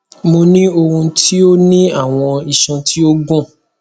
mo ni ohun ti o ni awọn iṣan ti o gun